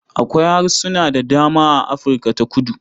Akwai harsuna da dama a Afirka ta kudu.